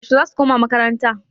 Yaushe zasu koma makaranta?